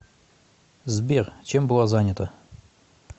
сбер чем была занята